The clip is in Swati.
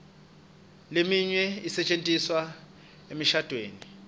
leminye isetjentiswa emishadvweni